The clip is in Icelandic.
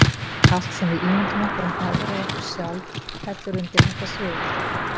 Allt sem við ímyndum okkur um aðra og okkur sjálf fellur undir þetta svið.